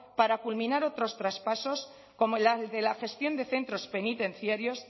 para culminar otros traspasos como la de la gestión de centros penitenciarios